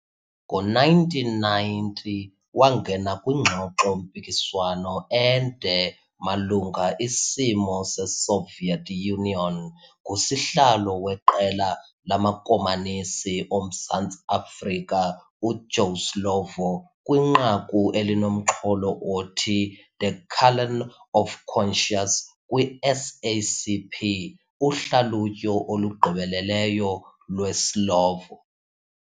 Ngo-1990 wangena kwingxoxo-mpikiswano ende malungaIsimo seSoviet Union ngusihlalo weQela lamaKomanisi oMzantsi Afrika, uJoe Slovo, kwinqaku elinomxholo othi The Callen of Conscience kwi-SACP - Uhlalutyo olugqibeleleyo lweSlovo